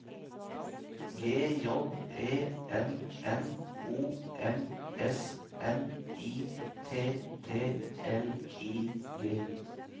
G J E N N O M S N I T T L I G